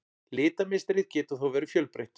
Litamynstrið getur þó verið fjölbreytt.